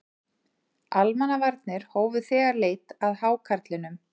Almannavarnir hófu þegar leit að hákarlinum